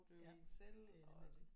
Ja det er nemlig det